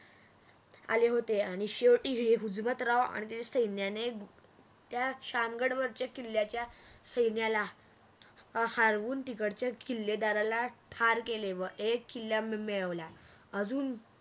आले होते आणि शेवटी हुजमतराव आणि त्याच्या सैन्याने त्या शाम गडवरच्या किल्ल्याच्या सैन्याला हारवून तिकडच्या किल्लेदारला ठार केले व एक किल्ला मिळवला अजून